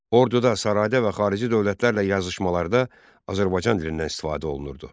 Orduda, sarayda və xarici dövlətlərlə yazışmalarda Azərbaycan dilindən istifadə olunurdu.